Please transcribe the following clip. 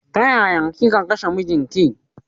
Tayaya kika kashe mijin ki?